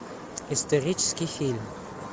исторический фильм